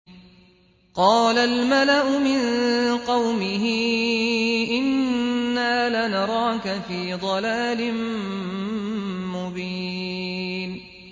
قَالَ الْمَلَأُ مِن قَوْمِهِ إِنَّا لَنَرَاكَ فِي ضَلَالٍ مُّبِينٍ